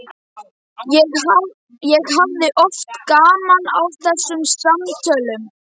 Ég hafði oft gaman af þessum samtölum.